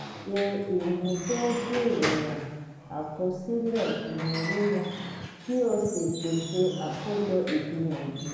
ṣe ìmúdójúìwọ̀n àkosile inawo wọn kí o sì pèsè àkójọ ìgbìyànjú